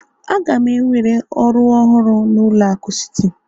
Aga m ewere ọrụ ọhụrụ na ụlọ akụ Citi